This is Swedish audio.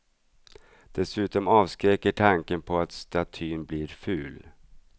Dessutom avskräcker tanken på att statyn blir ful.